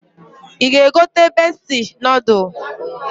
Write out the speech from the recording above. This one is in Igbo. I ga egote Bestie nodul.